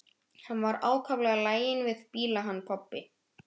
Hann var ákaflega laginn við bíla hann pabbi.